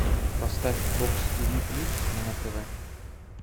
поставь бокс тиви плюс на тв